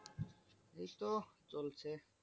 এইতো চলছে।